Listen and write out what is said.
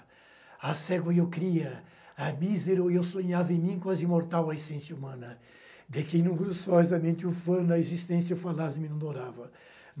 Há cego e eu cria, há mísero e eu sonhava em mim quase imortal a essência humana, de que, inúmeros sóis a mente ufana, a existência falaz me não dourava!